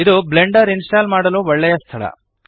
ಇದು Blender install ಮಾಡಲು ಒಳ್ಳೆಯ ಸ್ಥಳ